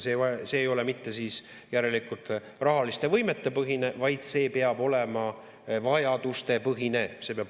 See ei ole siis järelikult mitte rahaliste võimete põhine, vaid see peab olema vajadustepõhine.